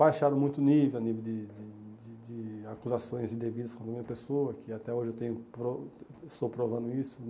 Baixaram muito o nível de de de de acusações indevidas contra a minha pessoa, que até hoje eu tenho estou provando isso.